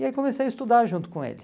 E aí comecei a estudar junto com ele.